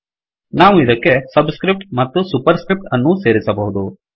ನಾವು ಇದಕ್ಕೆ subscripts ಮತ್ತು ಸುಪರ್ ಸ್ಕ್ರಿಫ್ಟ್ ಅನ್ನೂ ಸೇರಿಸಬಹುದು